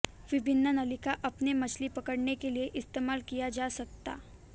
विभिन्न नलिका अपने मछली पकड़ने के लिए इस्तेमाल किया जा सकता